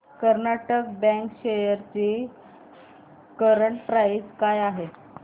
Karnataka bank shares ची current price काय आहे